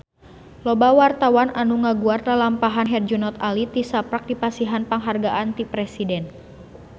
Loba wartawan anu ngaguar lalampahan Herjunot Ali tisaprak dipasihan panghargaan ti Presiden